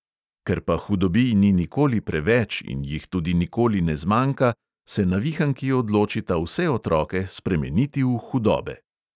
Ker pa hudobij ni nikoli preveč in jih tudi nikoli ne zmanjka, se navihanki odločita vse otroke spremeniti v hudobe.